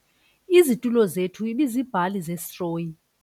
Izitulo zethu ibiziibhali zesitroyi.